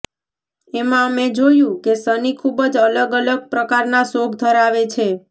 એમાં અમે જોયું કે સની ખૂબ જ અલગ અલગ પ્રકારના શોખ ધરાવે છે